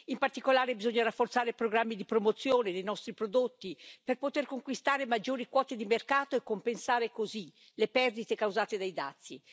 In particolare, bisogna rafforzare programmi di promozione dei nostri prodotti per poter conquistare maggiori quote di mercato e compensare così le perdite causate dai dazi.